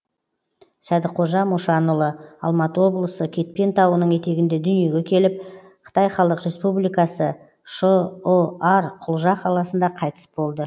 сәдіқожа мошанұлы алматы облысы кетпен тауының етегінде дүниеге келіп қытай халық республикасы шұар құлжа қаласында қайтыс болды